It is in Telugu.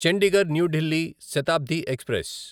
Chandigarh New Delhi Shatabdi express